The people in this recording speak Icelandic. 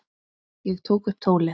Ég tók upp tólið.